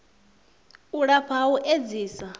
u lafha ha u edzisa